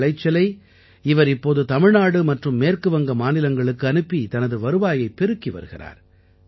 தனது விளைச்சலை அவர் இப்போது தமிழ்நாடு மற்றும் மேற்கு வங்க மாநிலங்களுக்கு அனுப்பி தனது வருவாயைப் பெருக்கி வருகிறார்